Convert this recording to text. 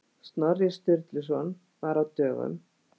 Snorri Sturluson var á dögum.